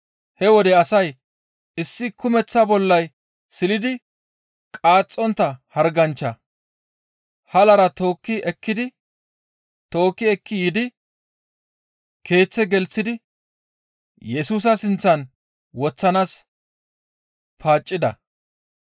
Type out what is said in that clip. He wode asay issi kumeththa bollay silidi qaaxxontta harganchcha halara tookki ekki yiidi keeththe gelththidi Yesusa sinththan woththanaas paaccida.